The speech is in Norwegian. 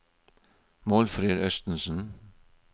Målfrid Østensen